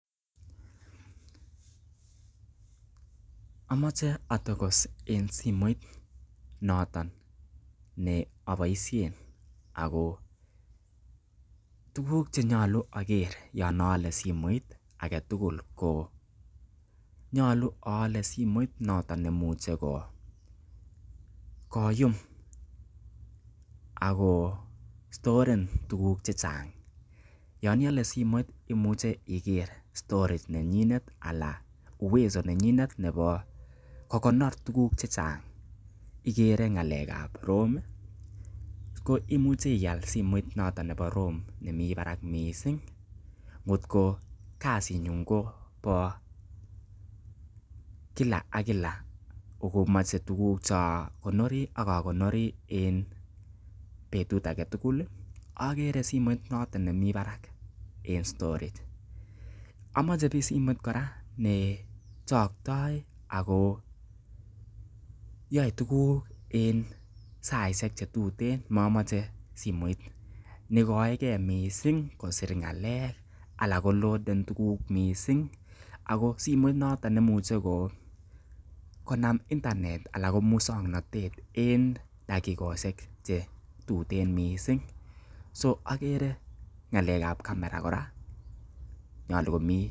Amoche atokos en simoit noton ne aboishen ago tuguk ch enyolu ager yon aale simoit age tugl ko nyolu aale simoit noton nemuche koyum ak ko stoaren tuguk chechang. Yon iale simoit imuche iger storage neyinet anan uwezo nenyinet nebo kokonor tuguk che chang, igere ngalekab ROM ko imche ial simot noton nebo ROM nemi barak mising kotko kasinyun kobo kila ka kila ago moche tuguk ch eakonori ak akonori en betut age tugul okere simoit noton nemi barak en storage amoche simoit kora ne changtoi ago yoe tuguk en saishek che tuten, momoche simoit ne ikoeke mising kosir ngalek ala koloaden tuguk mising ago simoit noton neimuche konam internet anan ko muswoknatet en takikoishek che tuten mising. So akere ng'alek ab camera kora nyolu komi.